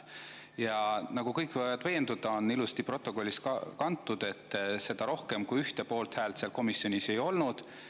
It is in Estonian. Ja nagu kõik võivad veenduda, see on ilusti protokolli kantud, et seda rohkem kui ühte poolthäält seal komisjonis ei olnud.